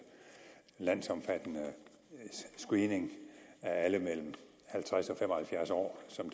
landsomfattende screening af alle mellem halvtreds og fem og halvfjerds år som